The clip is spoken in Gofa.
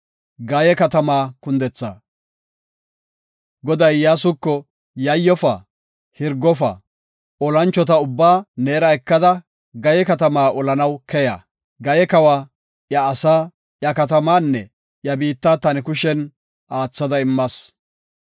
Goday Iyyasuko, “Yayyofa; hirgofa; olanchota ubbaa neera ekada, Gayee katamaa olanaw keya. Gaye kawa, iya asaa, iya katamaanne iya biitta ta ne kushen aathada immas.